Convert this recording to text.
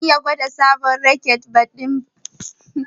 Zan iya gwada sabon raket ɗin badminton ku?